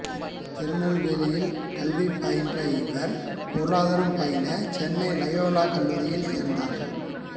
திருநெல்வேலியில் கல்வி பயின்ற இவர் பொருளாதாரம் பயில சென்னை இலயோலா கல்லூரியில் சேர்ந்தார்